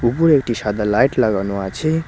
উপরে একটি সাদা লাইট লাগানো আছে।